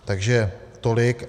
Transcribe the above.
Takže tolik.